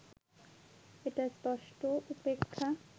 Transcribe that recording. এটা স্পষ্ট উপেক্ষা